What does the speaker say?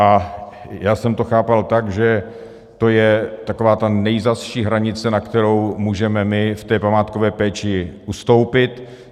A já jsem to chápal tak, že to je taková ta nejzazší hranice, na kterou můžeme my v té památkové péči ustoupit.